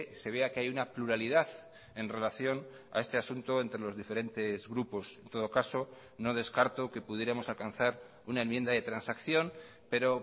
se vea que hay una pluralidad en relación a este asunto entre los diferentes grupos en todo caso no descarto que pudiéramos alcanzar una enmienda de transacción pero